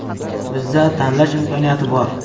Bizda tanlash imkoniyati bor.